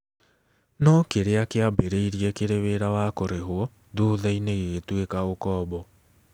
No kĩrĩa kĩambĩrĩirie kĩrĩ wĩra wa kũrĩhwo thutha-inĩ gĩgĩtuĩka ũkombo.